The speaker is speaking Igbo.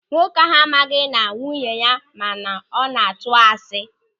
Nwoke ahụ amaghị na nwunye ya ma na ọ na-atụ asị.